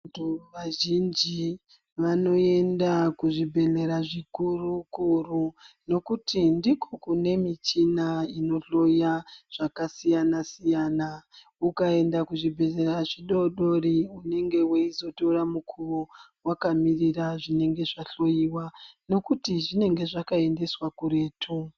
Vantu vazhinji vanoenda kuzvibhedhleya zvikuru-kuru, nokuti ndiko kune michina inohloya zvakasiyana-siyana. Ukaenda kuzvibhedhlera zvidodori unenge veizotora mukuvo vakamirira zvinenge zvahloiwa nekuti zvinenge zvakaendeswa kuretu.